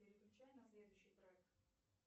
переключай на следующий трек